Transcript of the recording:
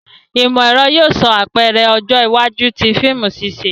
Imọ-ẹrọ yóò ṣe apẹrẹ ọjọ iwaju ti fiimu ṣiṣe.